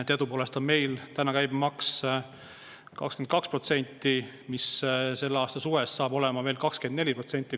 Teadupoolest on meil täna käibemaks 22% ja selle aasta suvest saab olema 24%.